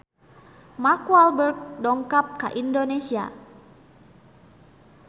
Mark Walberg dongkap ka Indonesia